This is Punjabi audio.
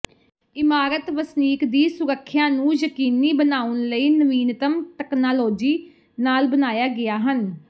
ਇਮਾਰਤ ਵਸਨੀਕ ਦੀ ਸੁਰੱਖਿਆ ਨੂੰ ਯਕੀਨੀ ਬਣਾਉਣ ਲਈ ਨਵੀਨਤਮ ਤਕਨਾਲੋਜੀ ਨਾਲ ਬਣਾਇਆ ਗਿਆ ਹਨ